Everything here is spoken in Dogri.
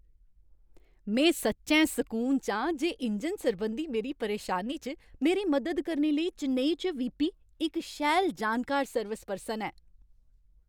में सच्चैं सकून च आं जे इंजन सरबंधी मेरी परेशानी च मेरी मदद करने लेई चेन्नई च वीपी, इक शैल जानकार सर्विस पर्सन है।